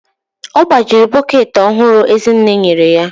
Ọ gbajiri bọket ọhụrụ Ezinne enye ya